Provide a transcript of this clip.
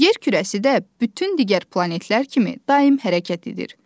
Yer kürəsi də bütün digər planetlər kimi daimi hərəkət edir.